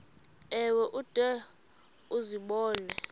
ewe ude uzibone